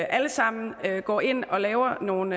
alle sammen går ind og laver nogle